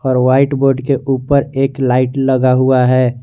और white board के ऊपर एक लाइट लगा हुआ है।